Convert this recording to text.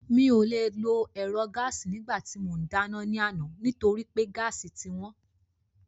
Mi ò le lo ẹ̀rọ gáàsì nígbà tí mò ń dáná ní alẹ́ àná nítorí pé gáàsì ti wọ́n